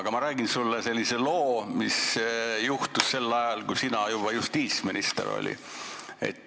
Aga ma räägin sulle sellise loo, mis juhtus sel ajal, kui sina juba justiitsminister olid.